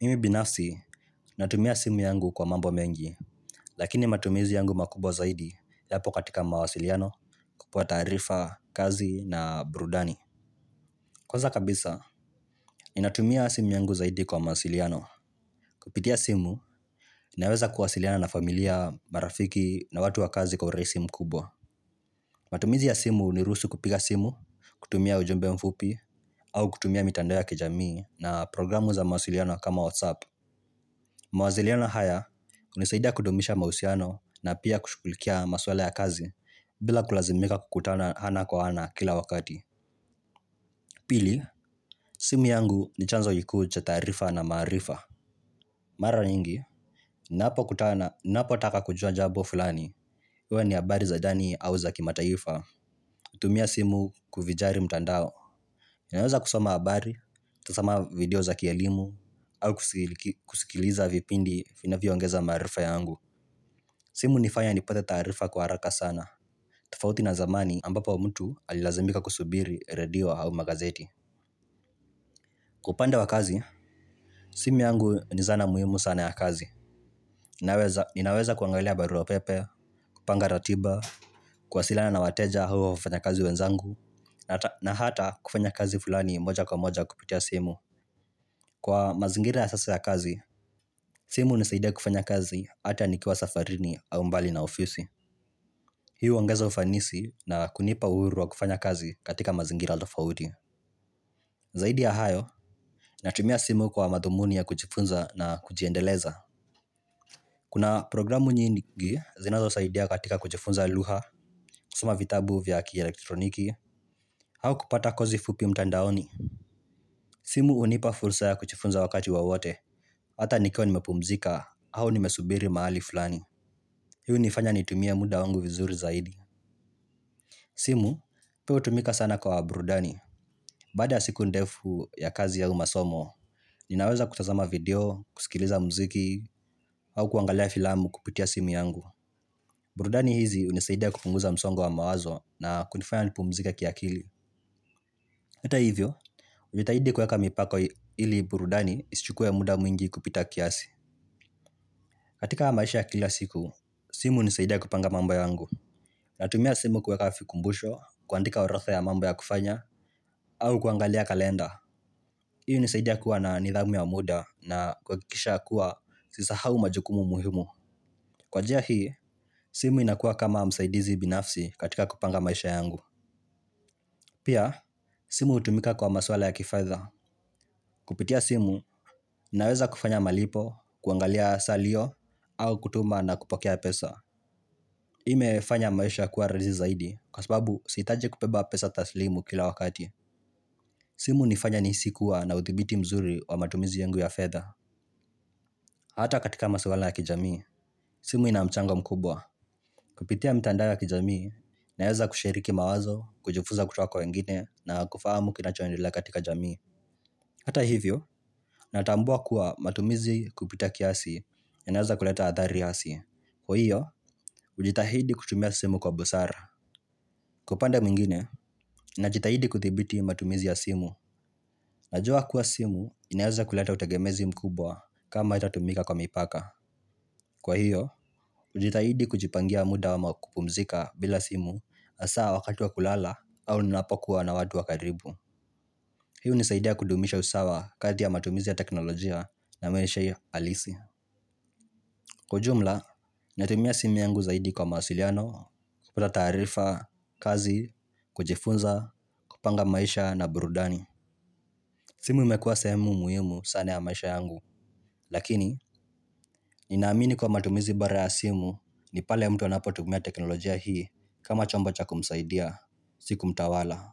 Mimi binafsi, natumia simu yangu kwa mambo mengi, lakini matumizi yangu makubwa zaidi yapo katika mawasiliano, kupewa taarifa, kazi na burudani. Kwanza kabisa, ninatumia simu yangu zaidi kwa mawasiliano. Kupitia simu, naweza kuwasiliana na familia, marafiki na watu wa kazi kwa urahisi mkubwa. Matumizi ya simu huniruhusu kupiga simu, kutumia ujumbe mfupi, au kutumia mitando ya kijamii na programu za mawasiliano kama WhatsApp. Mawasiliano haya, hunisaidia kudumisha mahusiano na pia kushughulikia maswala ya kazi bila kulazimika kukutana ana kwa ana kila wakati. Pili, simu yangu ni chanzo kikuu cha taarifa na maarifa. Mara nyingi ninapokutana ninapotaka kujua jambo fulani. Iwe ni habari za ndani au za kimataifa hutumia simu kuvinjari mtandao. Ninaweza kusoma habari, kutazama video za kielimu au kusikiliza vipindi vinavyoongeza maarifa yangu. Simu hunifanya nipate taarifa kwa haraka sana. Tofauti na zamani ambapo mtu alilazimika kusubiri radio au magazeti. Kwa upande wa kazi, simu yangu ni zana muhimu sana ya kazi inayoweza ninaweza kuangalia barua pepe kupanga ratiba, kuwasilana na wateja au wafanyakazi wenzangu na hata na hata kufanya kazi fulani moja kwa moja kupitia simu. Kwa mazingira ya sasa ya kazi, simu hunisaidia kufanya kazi ata nikiwa safarini au mbali na ofisi. Hii huongeza ufanisi na kunipa uhuru wa kufanya kazi katika mazingira tofauti. Zaidi ya hayo, natumia simu kwa madhumuni ya kujifunza na kujiendeleza. Kuna programu nyingi zinazosaidia katika kujifunza lugha kusoma vitabu vya kielektroniki au kupata kozi fupi mtandaoni. Simu hunipa fursa ya kujifunza wakati wowote. Hata nikiwa nimepumzika au nimesubiri mahali fulani. Hii hunifanya nitumie muda wangu vizuri zaidi. Simu, pia hutumika sana kwa burudani. Baada ya siku ndefu ya kazi au masomo, ninaweza kutazama video, kusikiliza muziki, au kuangalia filamu kupitia simu yangu. Burudani hizi hunisaidia kupunguza msongo wa mawazo na kunifanya nipumzike kiakili. Hata hivyo, hujitahidi kuweka mipaka ili burudani isichukue muda mwingi kupita kiasi. Katika maisha ya kila siku, simu hunisaidia kupanga mambo yangu. Natumia simu kuweka vikumbusho, kuandika orodha ya mambo ya kufanya, au kuangalia kalenda. Hii hunisaidia kuwa na nidhamu ya muda na kuhakikisha kuwa sisahau majukumu muhimu. Kwa njia hii, simu inakuwa kama msaidizi binafsi katika kupanga maisha yangu. Pia, simu hutumika kwa maswala ya kifedha. Kupitia simu, naweza kufanya malipo, kuangalia salio, au kutuma na kupokea pesa. Hii imefanya maisha kuwa rahisi zaidi, kwa sababu sihitaji kubeba pesa taslimu kila wakati. Simu hunifanya nihisi kuwa na udhibiti mzuri wa matumizi yangu ya fedha. Hata katika maswala ya kijamii, simu ina mchango mkubwa. Kupitia mitandao ya kijamii, naweza kushiriki mawazo, kujifunza kutoka kwa wengine, na kufahamu kinachoendelea katika jamii. Hata hivyo, natambua kuwa matumizi kupita kiasi inaweza kuleta athari hasi. Kwa hiyo, hujitahidi kutumia simu kwa busara. Kwa upande mingine, najitahidi kudhibiti matumizi ya simu. Najua kuwa simu inaweza kuleta utegemezi mkubwa kama haitatumika kwa mipaka. Kwa hiyo, hujitahidi kujipangia muda ama kupumzika bila simu hasa wakati wa kulala au ninapokuwa na watu wa karibu. Hii hunisaidia kudumisha usawa kati ya matumizi ya teknolojia na maisha hiyo halisi. Kwa ujumla, natumia simi yangu zaidi kwa mawasiliano, kupata taarifa, kazi, kujifunza, kupanga maisha na burudani. Simu imekuwa sehemu muhimu sana ya maisha yangu. Lakini, ninaamini kuwa matumizi bora ya simu ni pale mtu anapotumia teknolojia hii kama chombo cha kumsaidia si kumtawala.